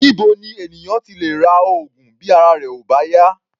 Níbo ni ènìyàn ti lè ra oògùn bí ara rẹ̀ ò bá yá?